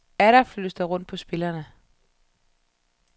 Atter flyttes der rundt på spillerne.